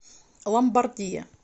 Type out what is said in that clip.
ломбардия